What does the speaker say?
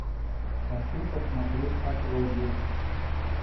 хочу посмотреть отродье